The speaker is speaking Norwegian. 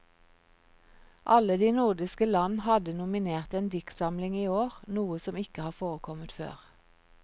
Alle de nordiske land hadde nominert en diktsamling i år, noe som ikke har forekommet før.